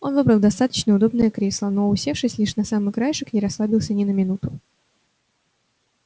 он выбрал достаточно удобное кресло но усевшись лишь на самый краешек не расслабился ни на минуту